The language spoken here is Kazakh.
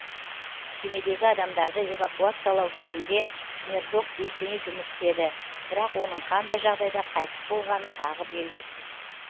кемедегі адамдарды эвакуациялау кезінде мердок белсене жұмыс істеді бірақ оның қандай жағдайда қайтыс болғаны тағы белгісіз